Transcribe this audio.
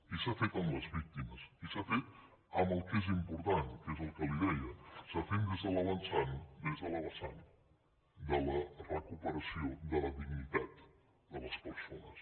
i s’ha fet amb les víctimes i s’ha fet amb el que és important que és el que li deia s’ha fet des del vessant de la recuperació de la dignitat de les persones